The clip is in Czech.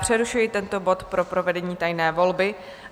Přerušuji tento bod pro provedení tajné volby.